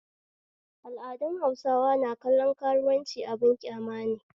Al'adun bahaushe na kallon karuwanci abin kyamane